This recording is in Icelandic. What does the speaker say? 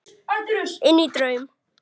Inní draum.